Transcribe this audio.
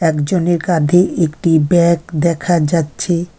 একজনের কাঁধে একটি ব্যাগ দেখা যাচ্ছে।